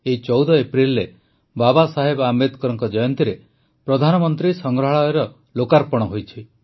ଏଇ ୧୪ ଏପ୍ରିଲରେ ବାବାସାହେବ ଆମ୍ବେଦକରଙ୍କ ଜୟନ୍ତୀରେ ପ୍ରଧାନମନ୍ତ୍ରୀ ସଂଗ୍ରହାଳୟର ଲୋକାର୍ପଣ ହୋଇଛି